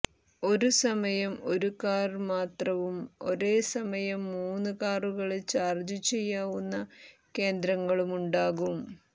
ഒരുസമയം ഒരു കാര് മാത്രവും ഒരേസമയം മൂന്നു കാറുകള് ചാര്ജ് ചെയ്യാവുന്ന കേന്ദ്രങ്ങളുമുണ്ടാകും